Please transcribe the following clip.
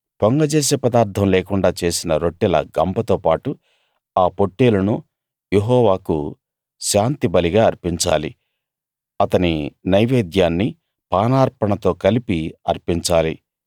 పొంగజేసే పదార్ధం లేకుండా చేసిన రొట్టెల గంపతో పాటు ఆ పొట్టేలును యెహోవాకు శాంతి బలిగా అర్పించాలి అతని నైవేద్యాన్ని పానార్పణతో కలిపి అర్పించాలి